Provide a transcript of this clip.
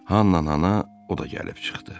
Hanna o da gəlib çıxdı.